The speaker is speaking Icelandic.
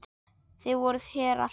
Þau voru þér allt.